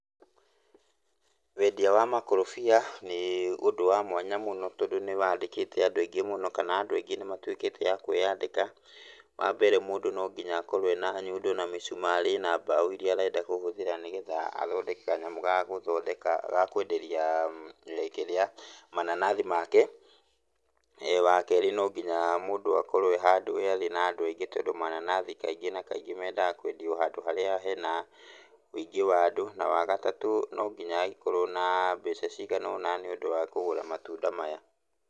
Wendia wa makorobia nĩ ũndũ wa mwanya mũno tondũ nĩwandĩkĩte andũ aingĩ mũno, kana andũ aingĩ nĩmatuĩkĩte a kwĩyandĩka. Wambere mũndũ no ngiya akorwo ena nyundo na mĩcumarĩ na mbaũ iria arenda kũhũthĩra nĩgetha athondeke kanyamũ ga gũthondeka ga kwenderia kĩrĩa mananathi make. Wakerĩ mũndũ no nginya akorwo e handũ harĩ na andũ aingĩ tondũ mananathi kaingĩ na kaingĩ mendaga kwendio handũ harĩa hena wĩingĩ wa andũ. Na wagatatũ no nginya agĩkorwo na mbeca cigana ũna nĩũndũ wa kũgũra matunda maya.